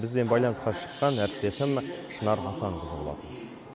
бізбен байланысқа шыққан әріптесім шынар асанқызы болатын